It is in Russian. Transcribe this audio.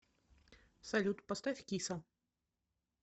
салют поставь киса